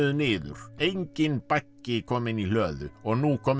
niður enginn baggi kominn í hlöðu og nú kominn